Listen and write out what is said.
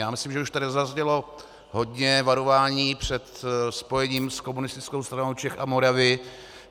Já myslím, že už tady zaznělo hodně varování před spojením s Komunistickou stranou Čech a Moravy.